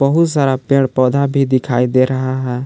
बहुत सारा पेड़ पौधा भी दिखाई दे रहा है।